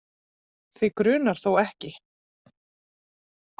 Þig grunar þó ekki?.